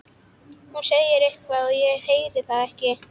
Hún segir eitthvað en ég heyri það ekki.